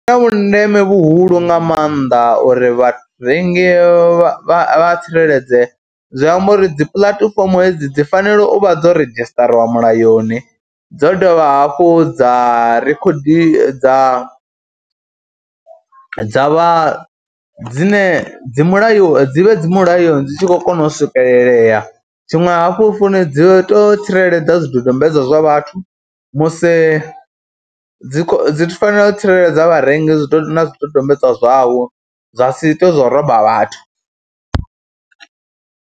Zwi na vhundeme vhuhulu nga maanḓa uri vharengi vha tsireledzee, zwi amba uri dzi puḽatifomo hedzi dzi fanela u vha dzo redzhisṱariwa mulayoni, dzo dovha hafhu dza rikhodiwa, dza dza vha dzine dzi mulayoni dzi vhe dzi mulayoni, dzi tshi khou kona u swikelelea. Tshiṅwe hafhu founu dzi vhe tou tsireledza zwidodombedzwa zwa vhathu vhathu, musi dzi dzi fanela u tsireledza vharengi na zwidodombedzwa zwavho zwa si ite zwa u romba vhathu.